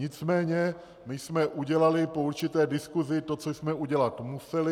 Nicméně my jsme udělali po určité diskusi to, co jsme udělat museli.